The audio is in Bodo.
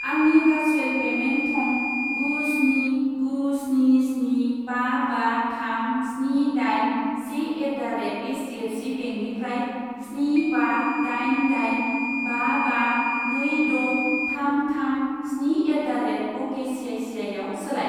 आंनि भारसुएल पेमेन्ट थं गु स्नि गु स्नि स्नि बा बा थाम स्नि दाइन से एट दा रेट एइसडिएफसि बेंकनिफ्राय स्नि बा दाइन दाइन बा बा नै द' थाम थाम स्नि एट दा रेट अकेसिआइसिआइआव सोलाय।